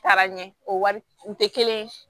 Taara ɲɛ o wari u tɛ kelen ye